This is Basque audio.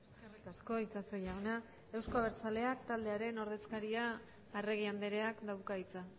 eskerrik asko itxaso jauna euzko abertzaleak taldearen ordezkaria arregi andreak dauka hitza